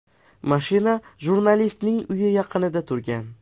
Mashina jurnalistning uyi yaqinida turgan.